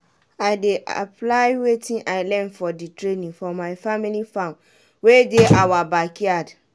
i dey apply wetin i learn for di training for my family farm wey dey awa backyard.